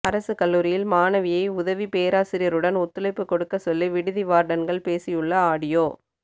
அரசு கல்லூரியில் மாணவியை உதவி பேராசிரியருடன் ஒத்துழைப்பு கொடுக்க சொல்லி விடுதி வார்டன்கள் பேசியுள்ள ஆடியோ